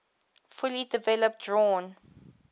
fully developed drawn